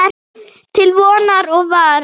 Til vonar og vara.